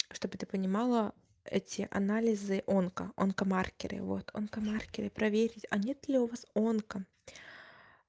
чтобы ты понимала эти анализы онко онкомаркеры вот онкомаркеры проверить а нет ли у вас онко